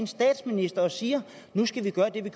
statsminister og siger at man skal gøre det